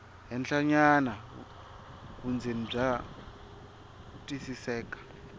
henhlanyana vundzeni bya twisiseka